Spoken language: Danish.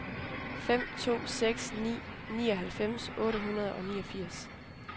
fem to seks ni nioghalvfems otte hundrede og niogfirs